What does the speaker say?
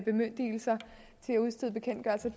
bemyndigelser til at udstede bekendtgørelser